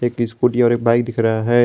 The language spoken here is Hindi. एक स्कूटी और बाइक दिख रहा है।